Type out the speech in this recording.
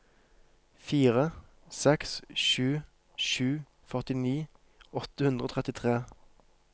fire seks sju sju førtini åtte hundre og trettitre